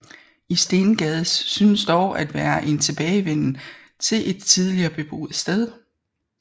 I Stengades synes dog at være en tilbagevenden til et tidligere beboet sted